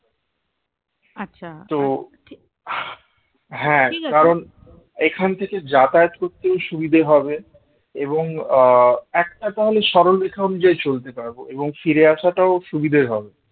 তো হ্যাঁ কারণ এখান থেকে যাতায়াত করতেও সুবিধা হবে এবং আহ একটা তাহলে সরলরেখা অনুযায়ী চলতে পারবো এবং ফিরে আসাটাও সুবিধার হবে